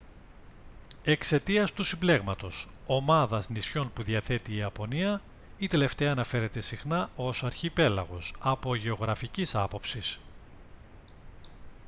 εξαιτίας του συμπλέγματος/ομάδας νησιών που διαθέτει η ιαπωνία η τελευταία αναφέρεται συχνά ως «αρχιπέλαγος» από γεωγραφικής άποψης